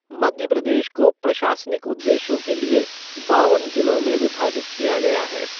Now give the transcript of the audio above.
मध्य प्रदेश को प्रशासनिक उद्देश्यों के लिए बावन जिलों में विभाजित किया गया है।